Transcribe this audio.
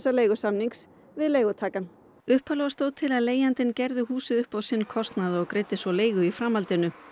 leigusamnings við leigutakann upphaflega stóð til að leigjandinn gerði húsið upp á sinn kostnað og greiddi svo leigu í framhaldinu